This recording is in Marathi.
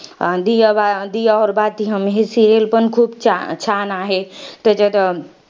ही serial पण खूप छान आहे. त्याचात